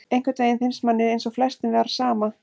Einhvern veginn finnst manni eins og flestum var sama,